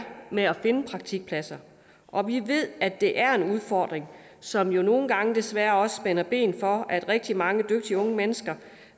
med at finde praktikpladser og vi ved at det er en udfordring som jo nogle gange desværre også spænder ben for at rigtig mange dygtige unge mennesker